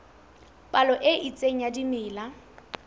palo e itseng ya dimela